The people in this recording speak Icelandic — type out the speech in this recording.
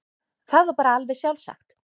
Það var bara alveg sjálfsagt.